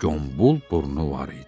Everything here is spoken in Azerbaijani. gömbul burnu var idi.